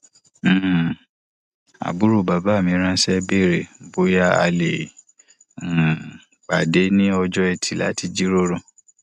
um àbúrò bàbá mi ránṣẹ béèrè bóyá a lè um pàdé ní ọjọ etì láti jíròrò